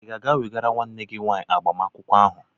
Ịga aga wegara nwanne gị nwaanyị uwe agbamakwụkwọ ahụ?